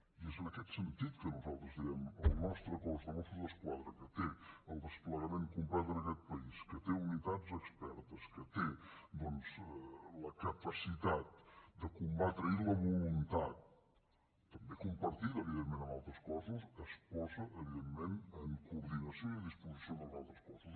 i és en aquest sentit que nosaltres diem el nostre cos de mossos d’esquadra que té el desplegament complet en aquest país que té unitats expertes que té doncs la capacitat de combatre i la voluntat també compartida evidentment amb altres cossos es posa evidentment en coordinació i a disposició dels altres cossos